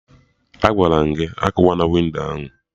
Agwara m gị "akụwana windo ahụ"!